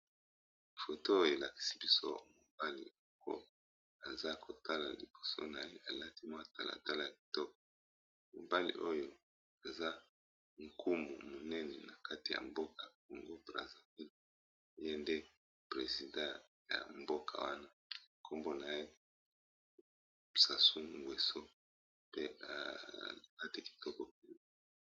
Foto oyo elakisi biso mobali oko aza kotala liboso na ye alati mwa talatala ya kitoko mobali oyo eza nkumu monene na kati ya mboka congo brazzaville ye nde president ya mboka wana nkombo na ye sassou ngueso pe alibati kitoko.